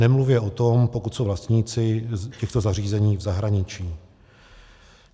Nemluvě o tom, pokud jsou vlastníci těchto zařízení v zahraničí.